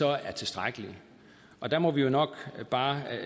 er tilstrækkelige og der må vi jo nok bare